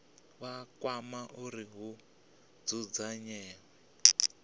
vha kwama uri hu dzudzanywe